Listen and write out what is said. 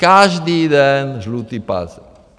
Každý den žlutý pásek.